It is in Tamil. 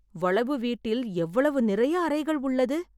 வளவு வீட்டில் எவ்வளவு நிறையஅறைகள் உள்ளது